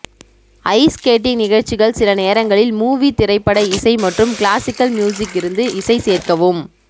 ice skating நிகழ்ச்சிகள் சில நேரங்களில் மூவி திரைப்பட இசை மற்றும் கிளாசிக்கல் மியூசிக் இருந்து இசை சேர்க்கவும்